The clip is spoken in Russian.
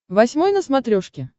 восьмой на смотрешке